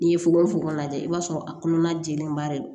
N'i ye fogofogo lajɛ i b'a sɔrɔ a kɔnɔna jɛlenba de don